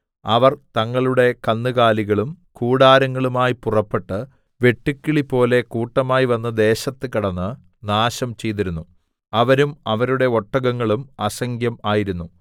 അവർ തങ്ങളുടെ കന്നുകാലികളും കൂടാരങ്ങളുമായി പുറപ്പെട്ട് വെട്ടുക്കിളിപോലെ കൂട്ടമായി വന്ന് ദേശത്ത് കടന്ന് നാശം ചെയ്തിരുന്നു അവരും അവരുടെ ഒട്ടകങ്ങളും അസംഖ്യം ആയിരുന്നു